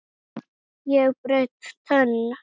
Hún lifi!